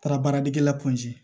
Taara baaradegela